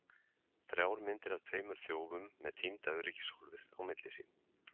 Þrjár myndir af tveimur þjófum með týnda öryggishólfið á milli sín!